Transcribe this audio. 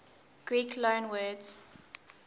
greek loanwords